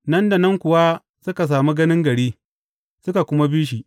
Nan da nan kuwa suka sami ganin gari, suka kuma bi shi.